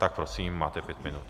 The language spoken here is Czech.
Tak prosím, máte pět minut.